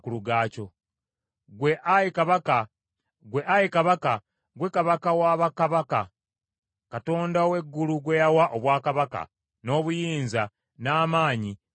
Ggwe, ayi kabaka, ggwe kabaka wa bakabaka, Katonda ow’eggulu gwe yawa obwakabaka, n’obuyinza, n’amaanyi, n’ekitiibwa;